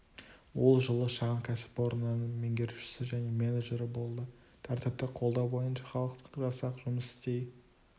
ол жылы шағын кәсіпорнының меңгеруішісі және менеджері болды тәртіпті қолдау бойынша халықтық жасақ жұмыс істей